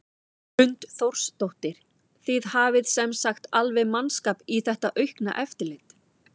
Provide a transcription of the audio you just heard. Hrund Þórsdóttir: Þið hafið sem sagt alveg mannskap í þetta aukna eftirlit?